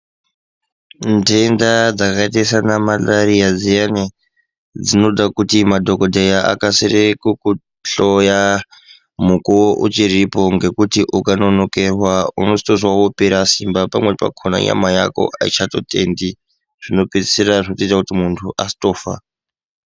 Ndenda dzakaita sana mararira dziyani dzinoita kuti madhokodheya akasire kuhloya mukuwo uchiripo ukanonokerwa unozopwa wopera Simba nyama Yako aichatendi zvopedzisira kuti muntu azotofa.